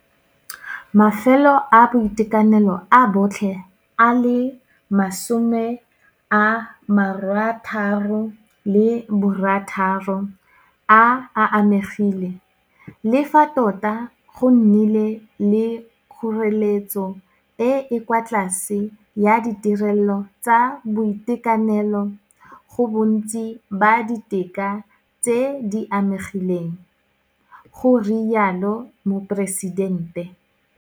Mafelo a boitekanelo a botlhe a le 66 a amegile, le fa tota go nnile le kgoreletso e e kwa tlase ya ditirelo tsa boitekanelo go bontsi ba didika tse di amegileng, go rialo Moporesidente.